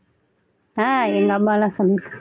ஆஹ் எங்க அம்மால்லாம் சொல்லிருக்காங்க